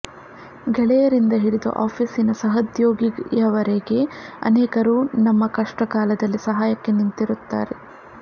ಗೆಳೆಯರಿಂದ ಹಿಡಿದು ಆಫೀಸಿನ ಸಹೋದ್ಯೋಗಿಯವರೆಗೆ ಅನೇಕರು ನಮ್ಮ ಕಷ್ಟ ಕಾಲದಲ್ಲಿ ಸಹಾಯಕ್ಕೆ ನಿಂತಿರುತ್ತಾರೆ